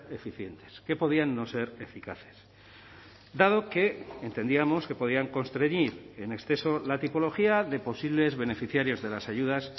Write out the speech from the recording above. eficientes que podían no ser eficaces dado que entendíamos que podían constreñir en exceso la tipología de posibles beneficiarios de las ayudas